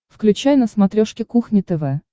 включай на смотрешке кухня тв